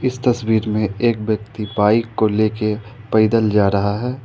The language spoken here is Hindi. इस तस्वीर में एक व्यक्ति बाइक को लेके पैदल जा रहा है।